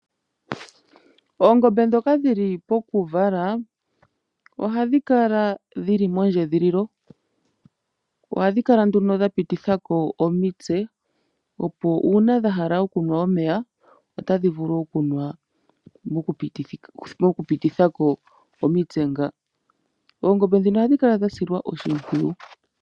Oongombe ndhoka dhili pokuvala ohadhi kala dhili moondjedhililo. Ohadhi kala nduno dha pitithako omitse opo uuna dhahala okunwa omeya otadhi vulu okunwa moku pitithako omitse ngawo . Oongombe ndhino ohadhi kala dha silwa oshimpwiyu